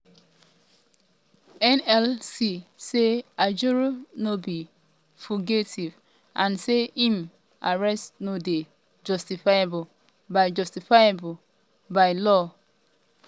nlc say ajaero no be um fugitive and say im arrest no dey justifiable by justifiable by um di law.